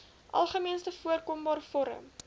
algemeenste voorkombare vorm